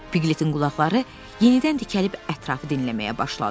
Piqletin qulaqları yenidən dikəlib ətrafı dinləməyə başladı.